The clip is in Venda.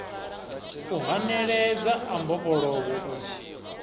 u haneledza a mbofholowo u